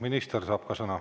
Minister saab ka sõna.